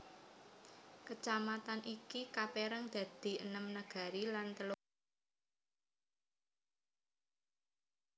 Kecamatan iki kapérang dadii enem nagari lan telung puluh loro jorong